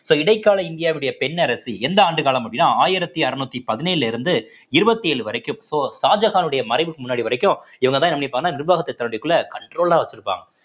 so இடைக்கால இந்தியாவுடைய பெண் அரசி எந்த ஆண்டு காலம் அப்படின்னா ஆயிரத்தி அறநூத்தி பதினேழுல இருந்து இருவத்தி ஏழு வரைக்கும் so ஷாஜகானுடைய மறைவுக்கு முன்னாடி வரைக்கும் இவங்கதான் என்ன பண்ணிருப்பாங்கன்னா நிர்வாகத்தை தன்னுடையக்குள்ள control ஆ வச்சிருப்பாங்க